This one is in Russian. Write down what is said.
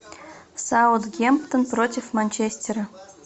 саутгемптон против манчестера